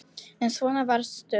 En svona varstu.